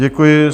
Děkuji.